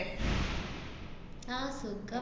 ആഹ് സുഖം.